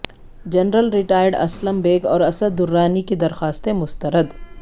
general retired Aslam Baig اور اسد درانی کی درخواستیں مسترد